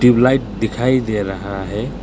Tubelight दिखाई दे रहा है।